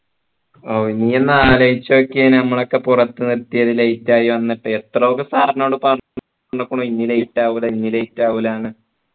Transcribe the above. ഓ ഈ ഒന്ന് ആലോചിച്ചു നോക്കിയേ നമ്മളൊക്കെ പുറത്തു നിർത്തിയത് late ആയി വന്നിട്ട് എത്ര ഒക്കെ sir നോട് പറഞ്ഞ ഇനി late ആവൂല ഇനി late ആവൂല ന്നു